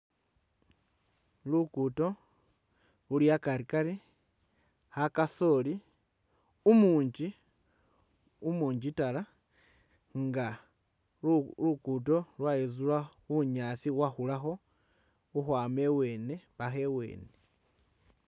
Lugudo luli akari-kari a kasooli umungi umungi dala nga lugudo lwayitsula bunyaasi bubwakhulakho khukwama iwene paka iwene.